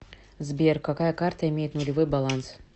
сбер какая карта имеет нулевой баланс